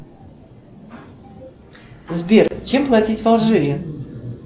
сбер чем платить в алжире